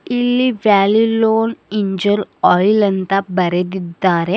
ಇಲ್ಲಿ Valvoline engine oil ಅಂತ ಬರೆದಿದ್ದಾರೆ.